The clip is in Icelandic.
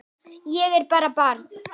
Ég er bara barn.